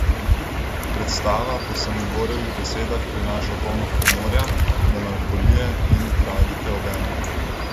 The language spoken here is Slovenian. Predstava po Samoborjevih besedah prinaša polno humorja, melanholije in tragike obenem.